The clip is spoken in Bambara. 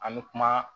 An bɛ kuma